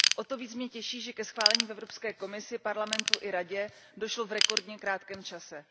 O to více mě těší, že ke schválení v Evropské komisi, Parlamentu i Radě došlo v rekordně krátkém čase.